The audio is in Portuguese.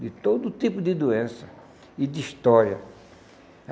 de todo tipo de doença e de história.